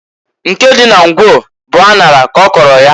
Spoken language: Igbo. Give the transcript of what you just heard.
Nke dị na Ngwo bụ aṅara k'ọkọlụ ya.